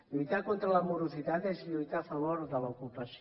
lluitar contra la morositat és lluitar a favor de l’ocupació